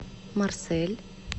марсель